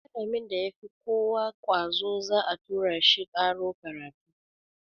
Malamin da ya fi kowa ƙwazo za a tura shi ƙaro karatu.